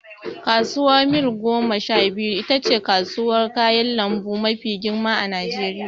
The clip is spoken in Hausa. Kasuwar Mil goma sha biyu itace kasuwar kayan lambu mafi girma a najeriya